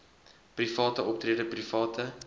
private optrede private